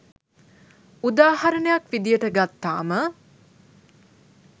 උදාහරණයක් විදිහට ගත්තාම